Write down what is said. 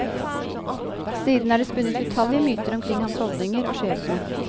Siden er det spunnet utallige myter omkring hans holdninger og skjebne.